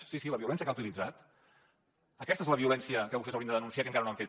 sí sí la violència que ha utilitzat aquesta és la violència que vostès haurien de denunciar i que encara no ho han fet